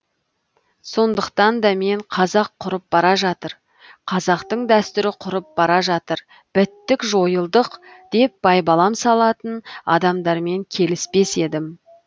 сондықтан да мен қазақ құрып бара жатыр қазақтың дәстүрі құрып бара жатыр біттік жойылдық деп байбалам салатын адамдармен келіспес едім